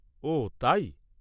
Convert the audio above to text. -ওহ তাই?